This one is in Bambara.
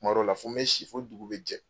Kuma dɔw la fo n be si fo dugu be jɛ.